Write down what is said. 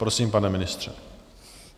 Prosím, pane ministře.